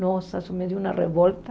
Nossa, isso me deu uma revolta.